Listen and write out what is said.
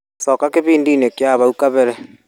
Coka gĩbindi-inĩ kĩa hau kabere.